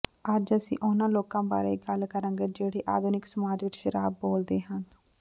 ਅੱਜ ਅਸੀਂ ਉਹਨਾਂ ਲੋਕਾਂ ਬਾਰੇ ਗੱਲ ਕਰਾਂਗੇ ਜਿਹੜੇ ਆਧੁਨਿਕ ਸਮਾਜ ਵਿਚ ਸ਼ਰਾਬ ਬੋਲਦੇ ਹਨ